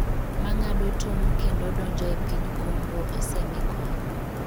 ma ng'ado tong kendo donjo e piny congo osemi kony